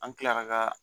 An kilara ka